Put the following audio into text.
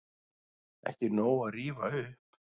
Ekki nóg að rífa upp